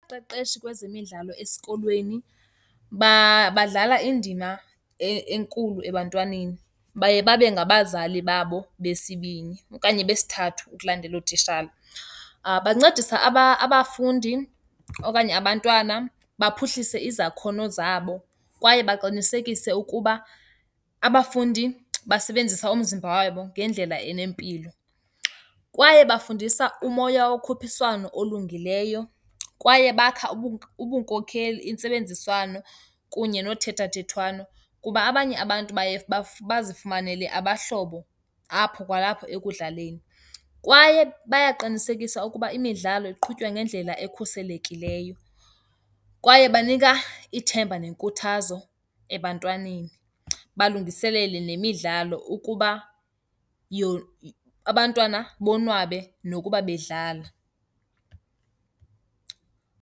Umqeqeshi kwezemidlalo esikolweni badlala indima enkulu ebantwaneni, baye babe ngabazali babo besibini okanye besithathu ukulandela ootishala. Bancedisa abafundi okanye abantwana baphuhlise izakhono zabo kwaye baqinisekise ukuba abafundi basebenzisa umzimba wabo ngendlela enempilo. Kwaye bafundisa umoya wokhuphiswano olungileyo, kwaye bakhe ubunkokheli, intsebenziswano kunye nothethathethwano kuba abanye abantu baye bazifumanele abahlobo apho kwalapho ekudlaleni. Kwaye bayaqinisekisa ukuba imidlalo iqhutywa ngendlela ekhuselekileyo kwaye banika ithemba nenkuthazo ebantwaneni, balungiselele nemidlalo ukuba abantwana bonwabe nokuba bedlala.